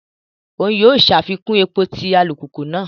Oun yóò ṣàfikún èpò ti alupupu náà